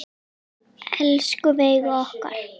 Elsku Veiga okkar.